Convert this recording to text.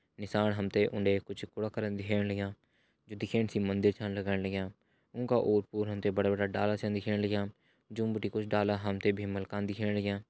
नीसाण हमते उंडे कुछ कूड़ा करन दिखेण लग्यां जु दिखेण सी मंदिर छन लगण लग्यां उंका ओर पोर हमते बड़ा बड़ा डाला छन दिखेण लग्यां जो बटी कुछ डाला हमते भीमल का दिखेण लग्यां।